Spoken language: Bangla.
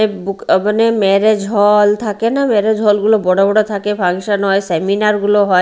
এ বুক অ্যাভেন -এ মেরেজ হল থাকে না মেরেজ হল -গুলো বড় বড় থাকে ফাংশন হয় সেমিনার -গুলো হয়।